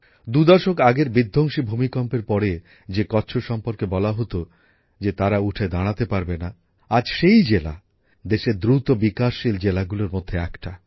দুদশক আগের বিধ্বংসী ভূমিকম্পের পরে যে কচ্ছ সম্পর্কে বলা হত যে তারা উঠে দাঁড়াতে পারবে না আজ সেই জেলা দেশের দ্রুত উন্নয়নশীল জেলাগুলোর মধ্যে একটি